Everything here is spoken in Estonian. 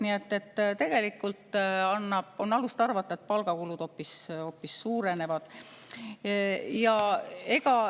Nii et tegelikult on alust arvata, et palgakulud hoopis suurenevad.